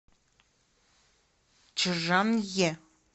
чжанъе